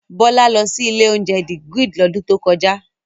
Bọ́lá lọ sí ilé-oúnjẹ The Grid lọ́dún tó kọjá.